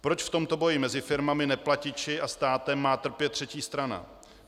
Proč v tomto boji mezi firmami, neplatiči a státem má trpět třetí strana?